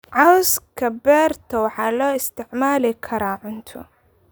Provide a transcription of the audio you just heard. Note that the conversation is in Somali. Cawska beerto waxaa loo isticmaali karaa cunto.